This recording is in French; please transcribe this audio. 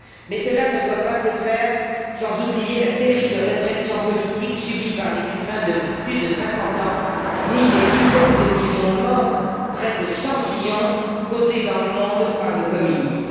Mais cela ne doit pas faire oublier la terrible répression politique subie par les Cubains depuis plus de 50 ans, ni les dizaines de millions de morts, près de 100 millions causés dans le monde par le communisme.